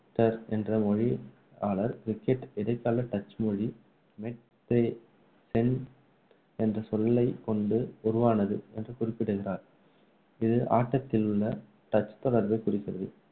என்ற மொழியியலாளர், cricket இடைகால டச் மொழி மெட் தே சென் என்ற சொல்லை கொண்டு உருவானது என்று குறிப்பிடுகிறார். இது ஆட்டத்தில் உள்ள டச் தொடர்பை குறிக்கிறது.